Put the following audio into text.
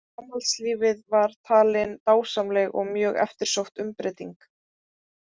Framhaldslífið var talin dásamleg og mjög eftirsótt umbreyting.